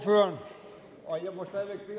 hvad